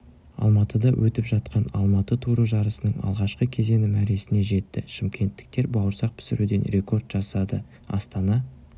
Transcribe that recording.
алматыда өтіп жатқан алматы туры жарысының алғашқы кезеңі мәресіне жетті шымкенттіктер бауырсақ пісіруден рекорд жасады астана